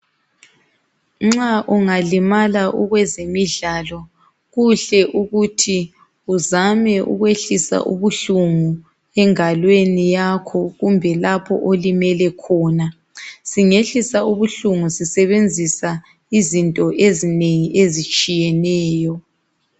Nxa ungalimala ukwezemidlalo, kuhle ukuthi uzame ukwehlisa ubuhlungu engalweni yakho kumbe lapho olimele khona. Singehlisa ubuhlungu sisebenzisa izinto ezinengi ezitshiyeneyo.